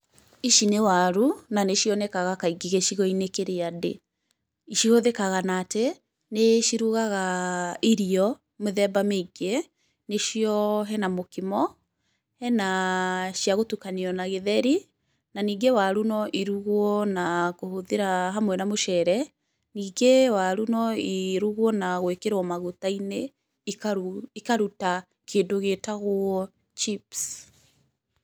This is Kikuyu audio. Ici nĩ waru, na nĩ cionekaga kaingĩ gĩcigo-inĩ kĩrĩa ndĩ, cihũthĩkaga na atĩ, nĩ cirugaga irio mĩthemba mĩingĩ nĩ cio, hena mũkimo, hena cia gũtukanio na gĩtheri, na ningĩ waru no irugwo na kũhũthĩra hamwe na mũcere, ningĩ waru no irugwo na gũĩkĩrwo maguta-inĩ, ikaruta kĩndũ gĩĩtagwo chips.